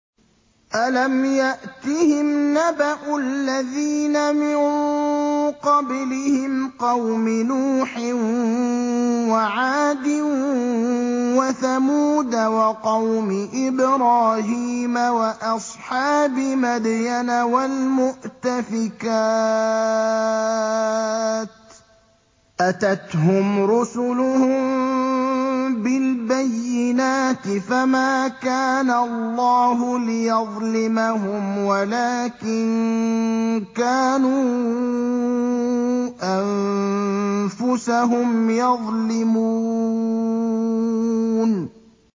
أَلَمْ يَأْتِهِمْ نَبَأُ الَّذِينَ مِن قَبْلِهِمْ قَوْمِ نُوحٍ وَعَادٍ وَثَمُودَ وَقَوْمِ إِبْرَاهِيمَ وَأَصْحَابِ مَدْيَنَ وَالْمُؤْتَفِكَاتِ ۚ أَتَتْهُمْ رُسُلُهُم بِالْبَيِّنَاتِ ۖ فَمَا كَانَ اللَّهُ لِيَظْلِمَهُمْ وَلَٰكِن كَانُوا أَنفُسَهُمْ يَظْلِمُونَ